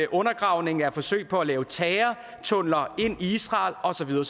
undergravning og forsøg på at lave terrortunneler ind i israel og så videre